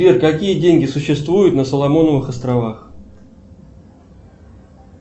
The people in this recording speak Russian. сбер какие деньги существуют на соломоновых островах